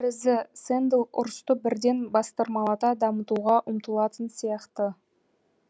сэндл ұрысты бірден бастырмалата дамытуға ұмтылатын сияқты